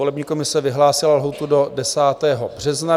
Volební komise vyhlásila lhůtu do 10. března.